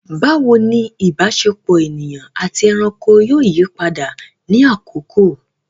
Bawo ni ìbáṣepọ̀ ènìyàn àti ẹranko yóò yí padà ní àkókò?